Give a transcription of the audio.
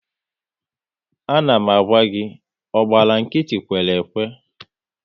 A na m gwa gị "ọ gbara nkịtị, kwere ekwe! "